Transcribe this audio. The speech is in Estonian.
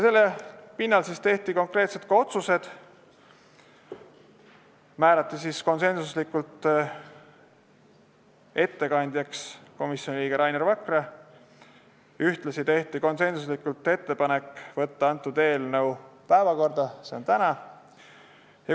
Selle pinnal tehti konkreetsed otsused: määrati ettekandjaks komisjoni liige Rainer Vakra , ühtlasi tehti konsensuslikult ettepanek saata eelnõu tänaseks suurde saali.